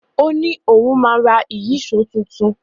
O ni òun ma ra Ìyíṣòó tuntun.